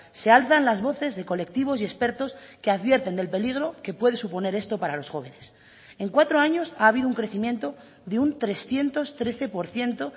se alzan las voces de colectivos y expertos que advierten del peligro que puede suponer esto para los jóvenes en cuatro años ha habido un crecimiento de un trescientos trece por ciento